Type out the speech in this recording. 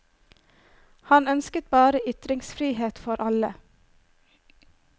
Han ønsket bare ytringsfrihet for alle.